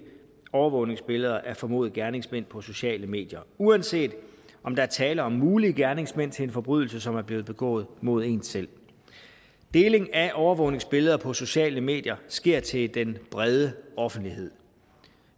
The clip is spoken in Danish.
overvågningsbilleder af formodede gerningsmænd på sociale medier uanset om der er tale om mulige gerningsmænd til en forbrydelse som er blevet begået mod en selv deling af overvågningsbilleder på sociale medier sker til den brede offentlighed